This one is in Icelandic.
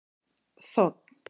Þ